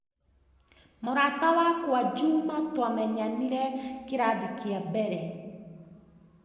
Mũrata wakwa Juma twamenyanire kĩrathi kĩa mbere.